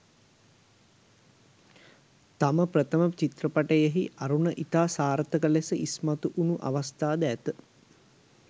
තම ප්‍රථම චිත්‍රපටයෙහි අරුණ ඉතා සාර්ථක ලෙස ඉස්මතු වුණු අවස්ථාද ඇත.